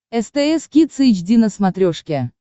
стс кидс эйч ди на смотрешке